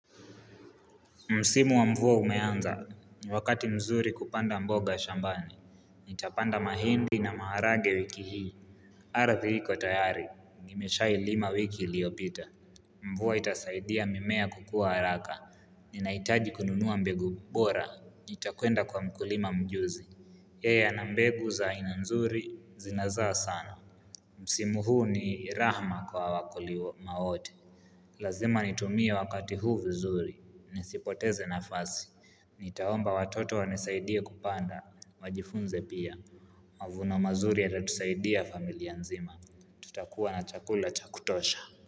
Msimu wa mvua umeanza, ni wakati mzuri kupanda mboga shambani, nitapanda mahindi na maharage wiki hii Aradhi iko tayari, nimeshailima wiki iliopita Mvua itasaidia mimea kukua haraka, ninaitaji kununua mbegu bora, nitakwenda kwa mkulima mjuzi yeye ana mbegu za aina nzuri, zinazaa sana Msimu huu ni rahma kwa wakulima wote, lazima nitumie wakati huu vizuri, nisipoteze nafasi Nitaomba watoto wanisaidie kupanda, wajifunze pia, mavuno mazuri yatatusaidia familia nzima, tutakuwa na chakula cha kutosha.